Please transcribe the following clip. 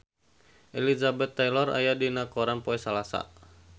Elizabeth Taylor aya dina koran poe Salasa